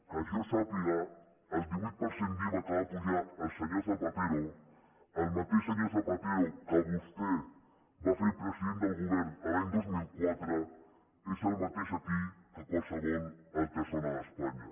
que jo sàpiga el divuit per cent d’iva que va apujar el senyor zapatero el mateix senyor zapatero que vostè va fer president del govern l’any dos mil quatre és el mateix aquí que a qualsevol altra zona d’espanya